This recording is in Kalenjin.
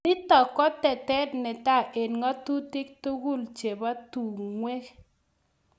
nitok ko tetet netai eng ngatutik tukul chebo tungwek